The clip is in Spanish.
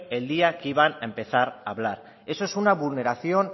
el día que iban a empezar a hablar eso es una vulneración